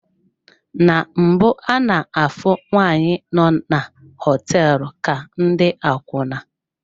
Na mbụ ana-afụ nwaanyị nọ na hoteelu ka ndị akwuna.